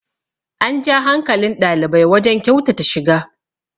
an ja hankalin ɗalibai wajen kyautata shiga